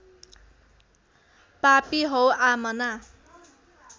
पापी हौ आमना